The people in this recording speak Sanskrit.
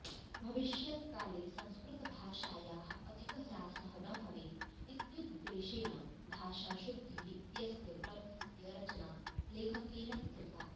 भविष्यत्काले संस्कृतभाषायाः अधिकह्रासः न भवेत् इत्युद्देशेन भाषाशुद्धिः इत्यस्य ग्रन्थस्य रचना लेखकेन कृता